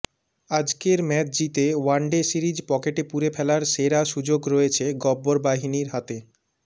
আজকের ম্যাচ জিতে one day series পকেটে পুরে ফেলার সেরা সুযোগ রয়েছে গব্বর বাহিনীর হাতে